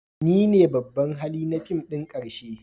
Ni ne babban hali na fim ɗin ƙarshe